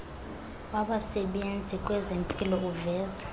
wabasebenzi kwezempilo uveza